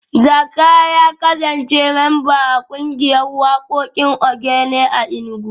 Zakka ya kasance memba a kungiyar wakokin Ogene a Enugu